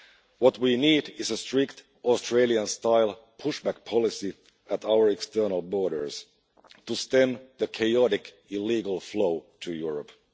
What we need is a strict, Australian style push back' policy at our external borders to stem the chaotic, illegal flow to Europe.